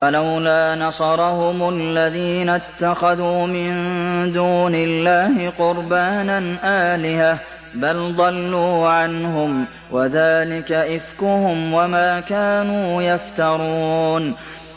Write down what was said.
فَلَوْلَا نَصَرَهُمُ الَّذِينَ اتَّخَذُوا مِن دُونِ اللَّهِ قُرْبَانًا آلِهَةً ۖ بَلْ ضَلُّوا عَنْهُمْ ۚ وَذَٰلِكَ إِفْكُهُمْ وَمَا كَانُوا يَفْتَرُونَ